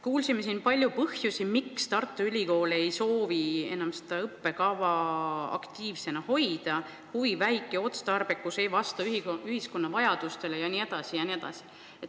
Kuulsime siin palju põhjusi, miks Tartu Ülikool ei soovi enam seda õppekava aktiivsena hoida: vähene otstarbekus ei vasta ühiskonna vajadustele jne, jne.